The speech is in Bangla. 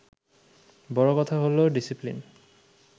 বড় কথা হলো ডিসিপ্লিন